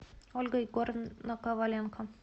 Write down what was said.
ольга егоровна коваленко